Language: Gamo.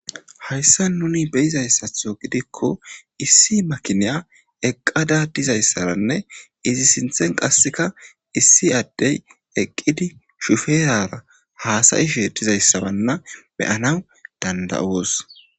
hayssan nuni be'izaysaththo giddiko issi makinya eqqada dizayissarane izi sinththen qasekka issi addeyi eqqidi shuferara hasa'ishe dizayisa wana be'anawu danda''os.